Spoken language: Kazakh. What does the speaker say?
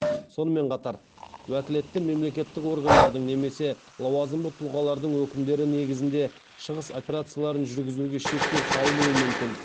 сонымен қатар уәкілетті мемлекеттік органдардың немесе лауазымды тұлғалардың өкімдері негізінде шығыс операцияларын жүргізуге шектеу салынуы мүмкін